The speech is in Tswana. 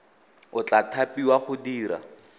o tla thapiwa go dira